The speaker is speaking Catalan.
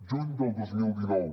juny del dos mil dinou